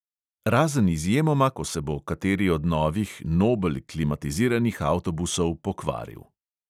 Razen izjemoma, ko se bo kateri od novih, nobel, klimatiziranih avtobusov pokvaril.